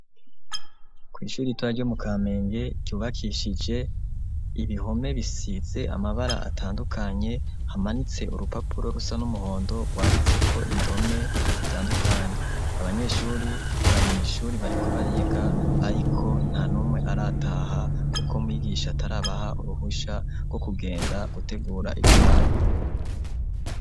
Kw' ishuri ritoya ryo mu Kamenge ryubakishije ibihome bisize amabara atandukanye, hamanitse urupapuro rusa n' umuhondo rwanditseko indome zitandukanye. Abanyeshure bari mw' ishuri bariko bariga, ariko nta n' umwe arataha kuko mwigisha atarabaha uruhusha rwo kugenda gutegura ivyabo.